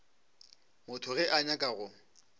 motho ge a nyaka go